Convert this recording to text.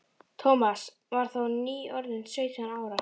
Thomas var þá nýorðinn sautján ára.